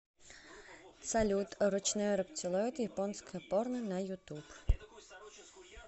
салют ручной рептилоид японское порно на ютуб